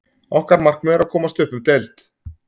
Okkar markmið er að komast upp um deild.